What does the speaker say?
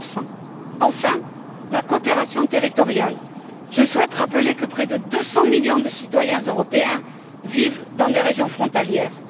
15 Enfin, en ce qui concerne la coopération territoriale, je souhaite rappeler que près de 200 millions de citoyens européens vivent dans des régions frontalières.